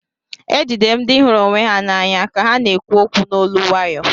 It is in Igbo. Ejidere m ndị hụrụ onwe ha n'anya ka ha na-ekwu okwu n'olu nwayo